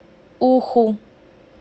уху